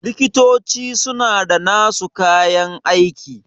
likitoci suna da nasu kayan aiki